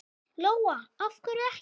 Lóa: Af hverju ekki?